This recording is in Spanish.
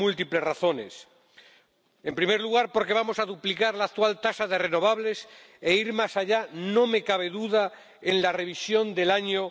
Por múltiples razones En primer lugar, porque vamos a duplicar la actual tasa de energías renovables e ir más allá, no me cabe duda, en la revisión del año